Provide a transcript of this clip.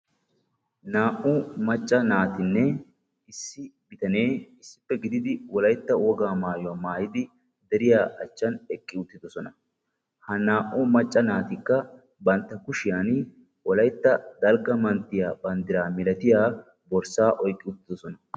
Naa"u macca naatinne issi bitanee issippe gididi wolaytta wogaa maayuwa maayidi deriya achchan eqqi uttidosona. Ha naa"u macca naatikka bantta kushiyan wolaytta dalgga manttiya banddiraa milatiya borssaa oyqqi uttidosona.